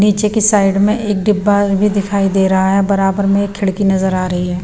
नीचे की साइड में एक डिब्बा भी दिखाई दे रहा है बराबर में खिड़की नजर आ रही है।